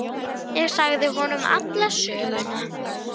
Langar að gráta.